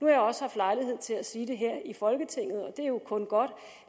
jeg også haft lejlighed til at sige det her i folketinget og det er jo kun godt